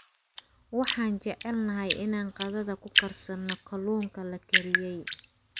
Waxaan jecelnahay inaan qadada ku karsanno kalluunka la kariyey.